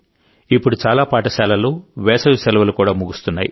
ఇప్పుడు చాలా పాఠశాలల్లో వేసవి సెలవులు కూడా ముగుస్తున్నాయి